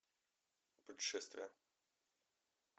путешествия